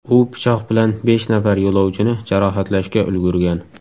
U pichoq bilan besh nafar yo‘lovchini jarohatlashga ulgurgan.